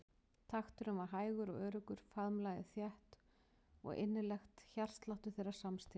Takturinn var hægur og öruggur, faðmlagið þétt og innilegt hjartsláttur þeirra samstíga.